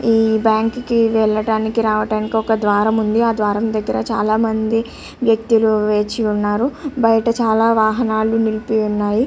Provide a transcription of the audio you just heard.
ఈ బ్యాంకు కి వెళ్ళడానికి రావడానికి ఒక ద్వారం ఉంది. ఆ ద్వారం దెగ్గర చాల మంది వ్యక్తులు వేచి ఉన్నారు. బయట చాల వాహనాలు నిలిపి ఉన్నాయి.